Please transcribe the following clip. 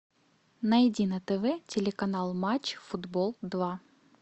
найди на тв телеканал матч футбол два